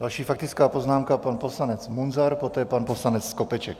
Další faktická poznámka pan poslanec Munzar, poté pan poslanec Skopeček.